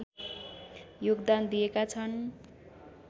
योगदान दिएका छन्